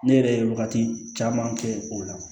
Ne yɛrɛ ye wagati caman kɛ o la